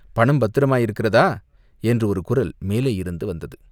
"பணம் பத்திரமாயிருக்கிறதா?" என்று ஒரு குரல் மேலேயிருந்து வந்தது.